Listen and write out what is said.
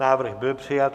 Návrh byl přijat.